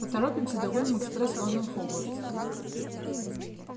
поторопимся догоним экспресс лондон хогвартс